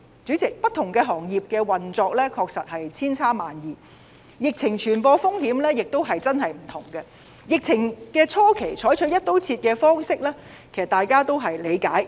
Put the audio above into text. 主席，不同行業的運作確實千差萬異，疫情傳染風險亦各有不同，疫情初期採取"一刀切"方式，大家都理解。